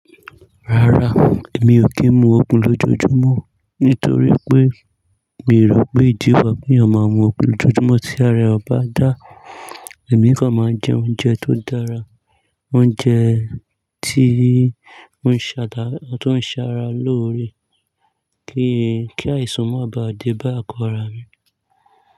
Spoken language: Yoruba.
Rárá, èmi ò kí ń mu ògun lójoojúmọ́ nítorí pé mii rò pé ìdí kan wa kí eeyan ọ̀ máà mu ògun lójoojúmọ́ tí ara eeyan ba dà, èmi kan máà jẹ oúnjẹ tó dára, oúnjẹ tí ó ń ṣàrà lóore kí àìsàn o má bá à dé bá àgo ara mi.